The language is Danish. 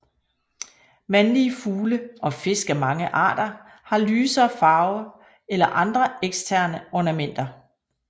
Mandlige fugle og fisk af mange arter har lysere farve eller andre eksterne ornamenter